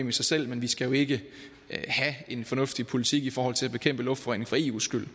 i sig selv men vi skal jo ikke have en fornuftig politik i forhold til at bekæmpe luftforurening for eus skyld